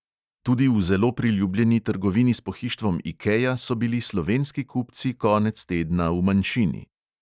Tudi v zelo priljubljeni trgovini s pohištvom ikea so bili slovenski kupci konec tedna v manjšini.